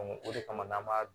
o de kama n'an b'a